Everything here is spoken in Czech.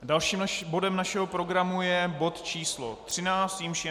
Dalším bodem našeho programu je bod číslo 13, jímž je